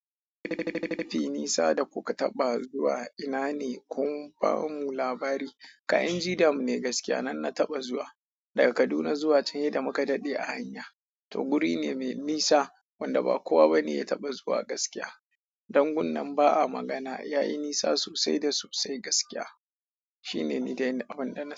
Tafi nisa da kuka taɓa zuwa ina ne kun ba mu labari. Kayan jida mu ne gaskiya nan na taɓa zuwa. Daga Kaduna zuwa can yada mu ka daɗe a hanya. To guri ne mai nisa wanda ba kowa ba ne ya taɓa zuwa gaskiya. Dangun nan ba a magana yayi nisa sosai da sosai gaskiya. Shi ne ni da inda abun da na.